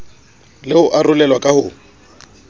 le ho arolelwa ka ho